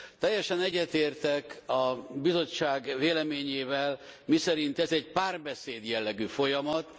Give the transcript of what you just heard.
Teljesen egyetértek a Bizottság véleményével, miszerint ez egy párbeszéd jellegű folyamat.